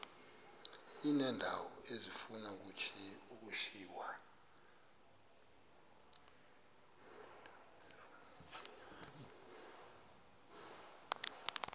uneendawo ezifuna ukushiywa